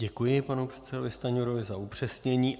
Děkuji panu předsedovi Stanjurovi za upřesnění.